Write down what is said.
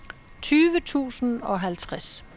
tyve tusind og halvtreds